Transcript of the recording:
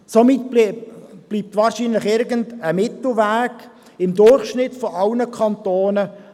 Somit bleibt wahrscheinlich irgendein Mittelweg mit dem Durchschnitt aller Kantone.